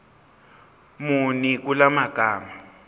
muni kula magama